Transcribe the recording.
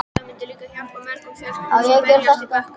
Það myndi líka hjálpa mörgum fjölskyldum sem berjast í bökkum.